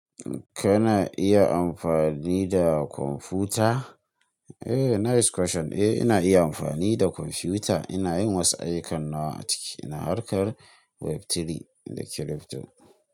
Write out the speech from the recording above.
Kana iya amfani da kwamfuta? Eh, nice question. Eh, ina iya amfani da kwamfuta. Ina yin wasu ayyukan na ciki. Ina harkar web3 da crypto.